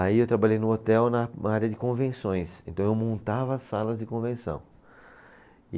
Aí eu trabalhei no hotel na área de convenções, então eu montava salas de convenção.